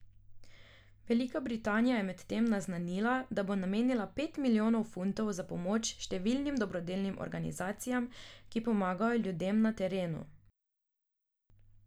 Velika Britanija je medtem naznanila, da bo namenila pet milijonov funtov za pomoč številnim dobrodelnim organizacijam, ki pomagajo ljudem na terenu.